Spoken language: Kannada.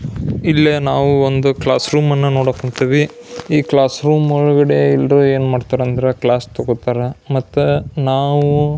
ಇಲ್ಲೇ ನಾವು ಒಂದು ಕ್ಲಾಸ್ ರೂಮ್ ಅನ್ನು ನೋಡಕ್ ಕುಂತೇವಿ ಈ ಕ್ಲಾಸ್ ರೂಮ್ ಒಳಗಡೆ ಎಲ್ರು ಏನ್ ಅಂದ್ರ ಕ್ಲಾಸ್ ತಗೋತಾರ ಮತ್ತೆ ನಾವು--